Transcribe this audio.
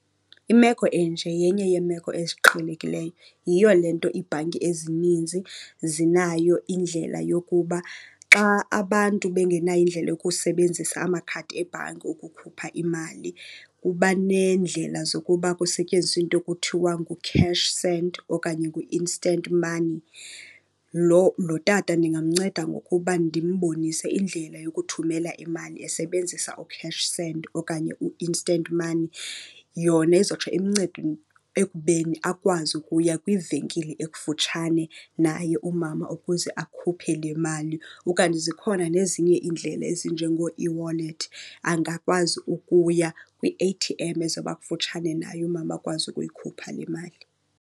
Imeko enje yenye yeemeko eziqhelekileyo. Yiyo le nto iibhanki ezininzi zinayo indlela yokuba xa abantu bengenayo indlela yokusebenzisa amakhadi ebhanki ukukhupha imali, kuba neendlela zokuba kusetyenziswe into ekuthiwa nguCashSend okanye nguInstant Money. Lo, lo tata ndingamnceda ngokuba ndimbonise indlela yokuthumela imali esebenzisa uCashSend okanye uInstant Money. Yona izotsho imncede ekubeni akwazi ukuya kwivenkile ekufutshane naye umama ukuze akhuphe le mali. Ukanti zikhona nezinye iindlela ezinjengooeWallet, angakwazi ukuya kwi-A_T_M ezoba kufutshane naye umama, akwazi ukuyikhupha le mali.